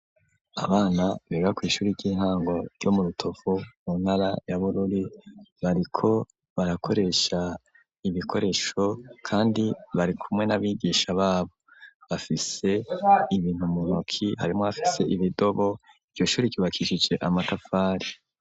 Abana bega kw'ishuri ry'intango ryo mu rutovu mu ntara ya burori bariko barakoresha ibikoresho, kandi bari kumwe n'abigisha babo bafise ibintu munyoki harimwo hafise ibidobo iryo shuri kibakishije amatapfari.